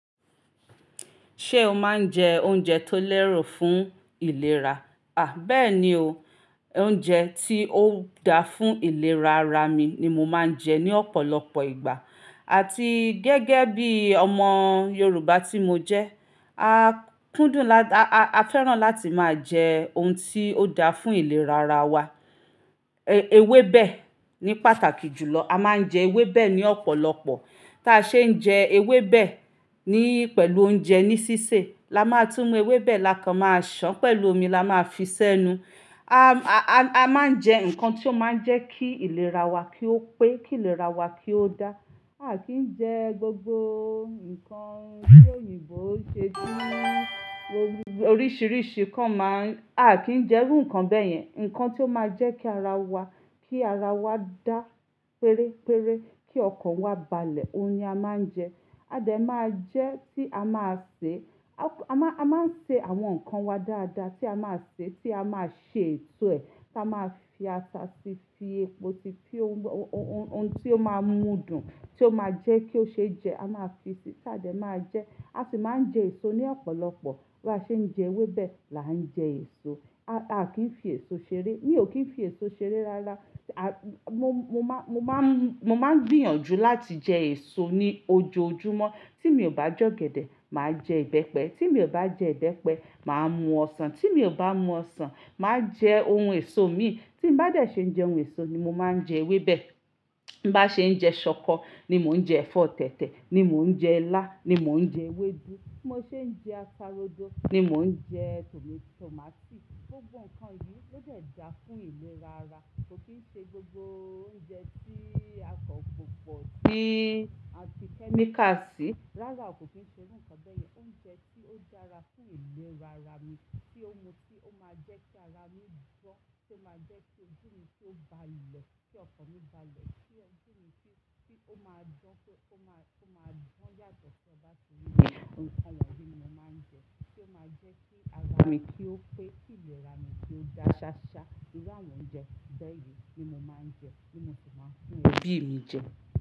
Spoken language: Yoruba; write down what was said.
Ṣé o máa ń jẹ oúnjẹ tó lẹ́ro fún ìlera? À, bẹ́ẹ̀ ni o. Oúnjẹ tí ó da fún ìlera ara mi ni mo máa ń jẹ ní ọ̀pọ̀lọpọ̀ ìgbà. Àti gẹ́gẹ́ bí ọmọ Yorùbá tí mo jẹ́, a kúndùn la-- a, a fẹ́ràn láti máa jẹ oun tí ó da fún ìlera ara wa. E, ewébẹ̀ ní pàtàkì jùlọ. A máa ń jẹ ewébẹ̀ ní ọ̀pọ̀lọpọ̀. Tí a ṣe ń jẹ ewébẹ̀ ní-- pẹ̀lú oúnjẹ ní sísè, lamá tú mú ewébẹ̀ lakan máa ṣán pẹ̀lú omi lamá fi sẹ́nu. A, a, a máa ń jẹ nǹkan tí ó máa ń jẹ́ kí ìlera wa kí ó pé, kí ìlera wa kí ó dá. A kì í jẹ gbogbo nǹkan tí òyìnbó ṣe se orí-- oríṣiríṣi kan máa ń-- a kì í jẹ irú nkan bẹ́yẹn. Nǹkan tí ó máa jẹ́ kí ara wa, kí ara wa dá péré péré, kí ọkàn wa balẹ̀, oun ni a máa ń jẹ. A dẹ̀ máa jẹ́ tí a máa sè, a máa, a máa sè àwọn nǹkan wa dáadáa tí a máa sè, tí a máa sè èto ẹ̀, tí a máa fi ata sí, fi epo sí, fi oun tí ó máa ń mú dùn, tí ó máa jẹ́ kí ó ṣe jẹ, a máa fi si, ta dẹ máa jẹ. A sì máa ń jẹ èso ní ọ̀pọ̀lọpọ̀. Bí a ṣe ń jẹ ewébẹ̀ làá ń jẹ èso. A kì í fi èso ṣeré. Mi ò kí ń fi èso ṣeré rára. A-- mo, mo máa, mo máa ń, mo máa ń gbìyànjú láti jẹ èso ní ojoojúmọ́. Tí mi ò bá jẹ ọ̀gẹ̀dẹ̀, màá jẹ ìbẹ́pẹ. Tí mi ò bá jẹ ìbẹ́pẹ, màá mú ọsàn. Tí mi ò bá mú ọsàn, màá jẹ oun èso mi. Tí n bá dà ṣe ń jẹ oun èso ni mo máa ń jẹ ewébẹ̀. Bí n bá ṣe ń jẹ ṣọkọ ni mò ń jẹ ẹ̀fọ́ tẹ̀tẹ̀, ni mò ń jẹ ilá, ni mò ń jẹ ewédú. Bí mo ṣe ń jẹ ata rodo ni mò ń jẹ tòmátósì. Gbogbo nǹkan yìí ló dẹ̀ da fún ìlera ara. Kò kì í ṣe gbogbo oúnjẹ tí akan popọ́, tí a fi chemical sí. Rárá, kò kì í ṣe rú nkan bẹ́yẹn. Oúnjẹ tí ó dára fún ìlera ara mi, tí ó mú-- tí ó máa jẹ́ kí ara mi gbó, tí ó máa jẹ́ kí ojú mi tó ba lẹ, kí ọkọ̀ mi bá lẹ, kí ojú mi tí-- tí ó máa gbó pé ó máa, ó máa dan yàtọ̀ ni inú mi, ikan wonyìí ni mo máa ń jẹ. Tí ó máa jẹ́ kí ara mi kí ó pé, kí ìlera mi kí ó dá ṣáṣá. Irú àwọn oúnjẹ bẹ́yẹn ni mo máa ń jẹ, ní mo sì máa ń fún ebí mi jẹ.